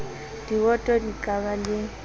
diwoto di ka ba le